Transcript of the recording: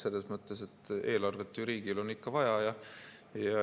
Selles mõttes, et eelarvet ju riigil on ikka vaja.